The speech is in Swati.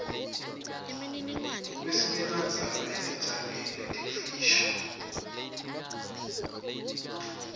kwesibekandzaba etindzabeni letimfisha